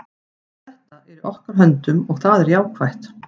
Þetta er í okkar höndum og það er jákvætt.